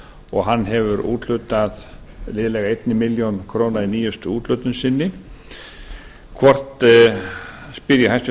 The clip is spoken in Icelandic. og hann hefur úthlutað liðlega einni milljón króna í nýjustu úthlutun sinni spyr ég hæstvirtan